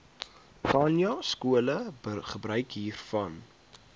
khanyaskole gebruik hiervan